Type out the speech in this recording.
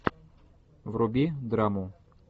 вруби драму